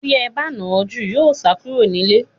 Tí ẹ ba nà án jù, yóò sá kúrò nílé.